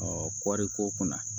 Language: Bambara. kɔɔri ko kunna